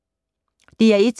DR1